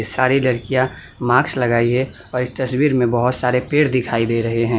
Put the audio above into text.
सारी लड़कियां मास्क लगाई है और इस तस्वीर में बहोत सारे पेड़ दिखाई दे रहे हैं।